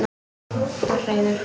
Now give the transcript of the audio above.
Þú ert reiður.